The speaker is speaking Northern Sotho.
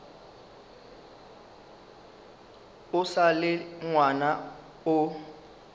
o sa le ngwana o